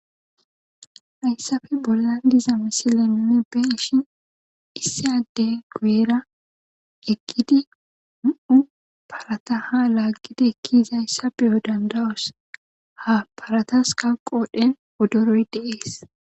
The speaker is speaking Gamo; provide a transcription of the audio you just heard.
hayssafe bollan dizamisilemine ben ishin issyade gueyra eggidi u7u parata ha laaggida ekkizayssa beyo dandawos ha paratas kal qodhen wodoroy dee'es